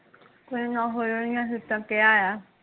ਕੋਈ ਨਾ ਹੋ ਜਾਣਗੀਆ ਸੀਟਾਂ, ਕਿਹਾ ਆ